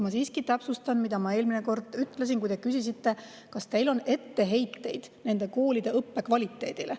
Ma siiski täpsustan, mida ma eelmine kord ütlesin, kui te küsisite, kas meil on etteheiteid nende koolide õppe kvaliteedile.